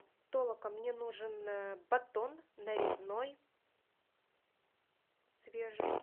толока мне нужен батон нарезной свежий